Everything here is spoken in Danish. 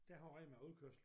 Der har Rema udkørsel